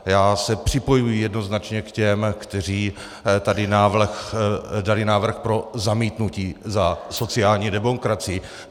Já se připojuji jednoznačně k těm, kteří tady dali návrh pro zamítnutí, za sociální demokracii.